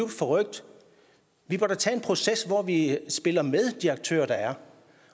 forrykt vi bør da tage en proces hvor vi spiller med de aktører der er